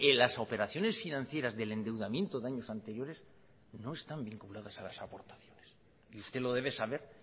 las operaciones financieras del endeudamiento de años anteriores no están vinculadas a las aportaciones y usted lo debe saber